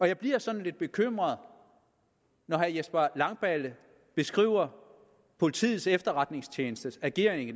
jeg bliver sådan lidt bekymret når herre jesper langballe beskriver politiets efterretningstjenestes ageren i